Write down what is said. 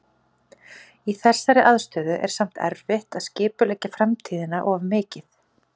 Í þessari aðstöðu er samt erfitt að skipuleggja framtíðina of mikið.